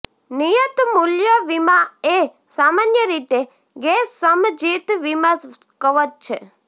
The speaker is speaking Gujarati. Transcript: નિયત મૂલ્ય વીમા એ સામાન્ય રીતે ગેરસમજિત વીમા કવચ છે